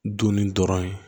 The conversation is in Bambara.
Dunni dɔrɔn ye